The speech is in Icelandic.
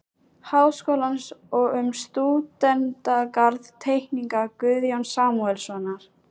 Háskólans og um stúdentagarð-Teikning Guðjóns Samúelssonar